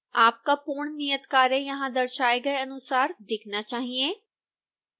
आपका पूर्ण नियतकार्य यहां दर्शाए गए अनुसार दिखना चाहिए